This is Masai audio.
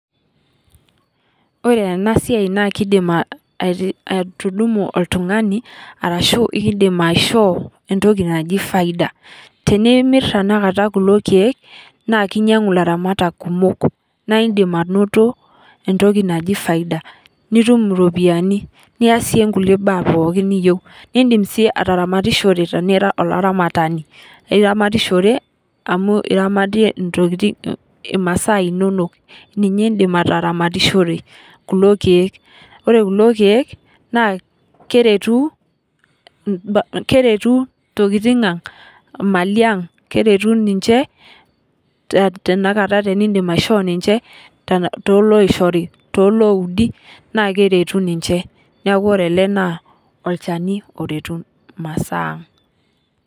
Ore ena siai naa keidim atudumu oltungani orashu kindip aishopo entoki naji faida ,tenimir tenakata kulo keek naa kinyangu laramatak kumok naa indim anoto entoki naji faida nitum iropiyiani niyasie nkulie baa pookin niyieu nidim sii ataramatishore tenira olaramatani .iramatishore amu iramatie imasa inonok ,ninye indi ataramatishore kulo keek ,ore kulo keek naa keretu ntokiting ang ,imali ang ,keretu ninche tenkata tenindim aisho ninche tooloishori, tolooudi naa keretu ninche neeku ore ele naa olchani oretu imasaa ang.